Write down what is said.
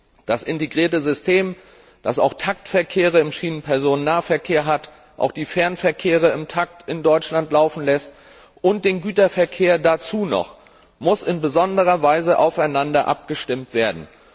Und das integrierte System, das auch Taktverkehre im Schienenpersonennahverkehr hat, das auch die Fernverkehre in Deutschland im Takt laufen lässt und den Güterverkehr noch dazu, das muss in besonderer Weise aufeinander abgestimmt werden.